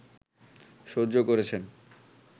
সহ্য করেছেন